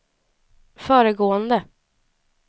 föregående